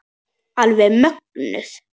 Alveg mögnuð.